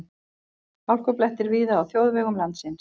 Hálkublettir víða á þjóðvegum landsins